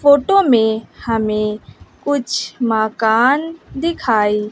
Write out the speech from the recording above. photo में हमें कुछ माकान दिखाई --